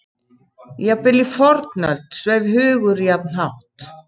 Jafnvel í fornöld sveif hugur jafn hátt.